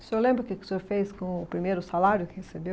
O senhor lembra o que que o senhor fez com o primeiro salário que recebeu?